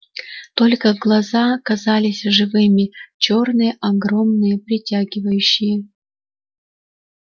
только глаза казались живыми чёрные огромные притягивающие